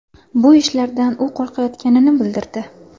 Bu ishlardan u qo‘rqayotganini bildirdi.